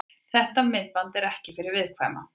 Þetta myndband er ekki fyrir viðkvæma.